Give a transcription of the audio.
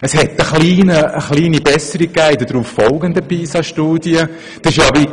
Es gab in den darauffolgenden Pisa-Studien eine kleine Besserung.